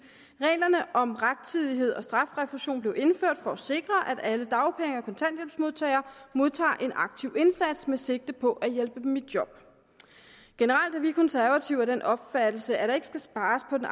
at reglerne om rettidighed og strafrefusion blev indført for at sikre at alle dagpenge og kontanthjælpsmodtagere modtager en aktiv indsats med sigte på at hjælpe dem i job generelt er vi i konservative af den opfattelse at der ikke skal spares på den